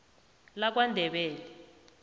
lakwandebele